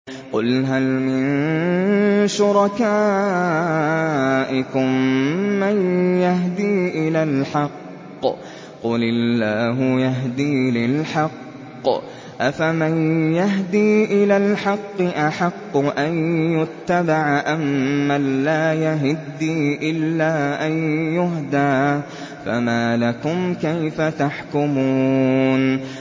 قُلْ هَلْ مِن شُرَكَائِكُم مَّن يَهْدِي إِلَى الْحَقِّ ۚ قُلِ اللَّهُ يَهْدِي لِلْحَقِّ ۗ أَفَمَن يَهْدِي إِلَى الْحَقِّ أَحَقُّ أَن يُتَّبَعَ أَمَّن لَّا يَهِدِّي إِلَّا أَن يُهْدَىٰ ۖ فَمَا لَكُمْ كَيْفَ تَحْكُمُونَ